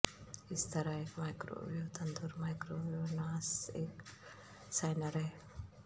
اس طرح ایک مائکروویو تندور مائیکرووناس ایک سینئر ہے